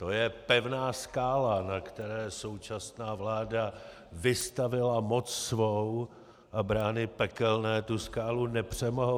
To je pevná skála, na které současná vláda vystavila moc svou, a brány pekelné tu skálu nepřemohou.